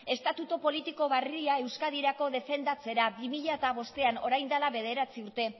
estatuto politiko barria euskadirako defendatzera bi mila bostean orain dela bederatzi urte